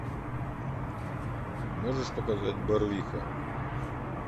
можешь показать барвиха